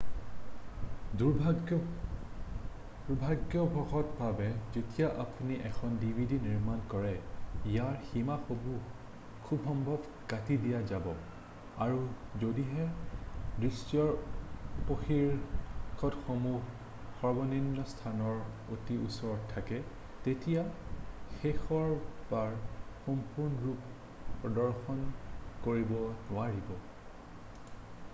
"দুৰ্ভাগ্যবশত ভাৱে যেতিয়া আপুনি এখন ডিভিডি নিৰ্মাণ কৰে, ইয়াৰ সীমাসমূহ খুবসম্ভৱ কাটি দিয়া যাব আৰু যদিহে দৃশ্যৰ উপশীৰ্ষকসমূহ সৰ্বনিম্ন স্থানৰ অতি ওচৰত থাকে তেতিয়া সেইবোৰ সম্পূৰ্ণৰূপে প্ৰদৰ্শন কৰিব নোৱাৰিব।""